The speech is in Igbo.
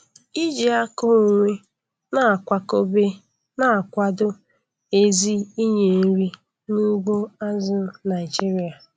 Iji aka onwe na akwakobe na-akwado ezi inye nri n'ugbo azụ̀ Naịjiria.